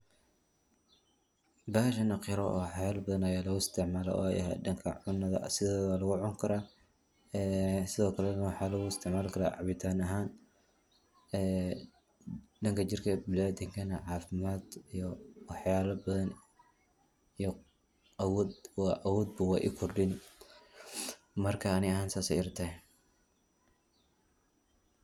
Bahashan wa qaro waxyaala badan aya lagu isticmaala oo eh dhanka cunada sideeda waa lagu cuni kara ee sidokalena waxaa lagu isticmaali kara cabitan ahaan ee dhanka jirka biniadamkana caafimad ee waxyala badan aya awood u kordhini marka ani ahaan sas ayey ila tahay.